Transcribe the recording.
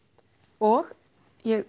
og ég